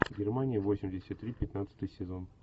германия восемьдесят три пятнадцатый сезон